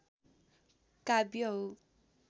काव्य हो